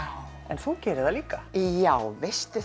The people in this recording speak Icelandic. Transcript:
þú gerir það líka já veistu